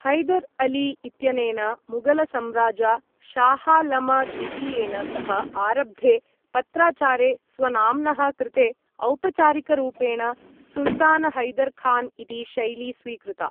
हैदर् अली इत्यनेन मुगलसम्राजा शाहालमद्वितीयेन सह आरब्धे पत्राचारे स्वनाम्नः कृते औपचारिकरूपेण सुल्तानहैदर् खान् इति शैली स्वीकृता।